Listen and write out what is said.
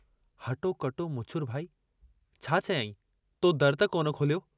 हटो कटो मुछुरु भाई छा चयाईं, तो दरु त कोन खोलियो?